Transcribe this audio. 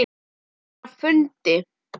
Ég er á fundi